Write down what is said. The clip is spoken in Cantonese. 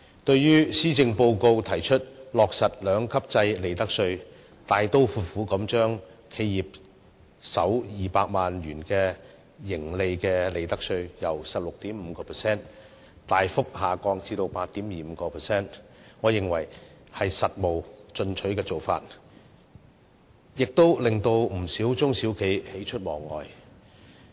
對於施政報告提出落實利得稅兩級制，大刀闊斧地把企業首200萬元盈利的利得稅稅率由 16.5% 大幅調低至 8.25%， 我認為是務實進取的做法，亦令不少中小企喜出望外。